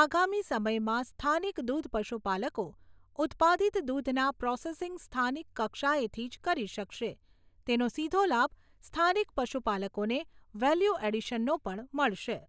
આગામી સમયમાં સ્થાનિક દુધ પશુપાલકો ઉત્પાદિત દુધના પ્રોસેસીંગ સ્થાનિક કક્ષાએથી જ કરી શકશે તેનો સીધો લાભ સ્થાનિક પશુપાલકોને વેલ્યુ એડીશનનો પણ મળશે.